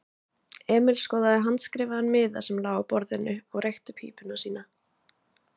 Emil skoðaði handskrifaðan miða sem lá á borðinu og reykti pípuna sína.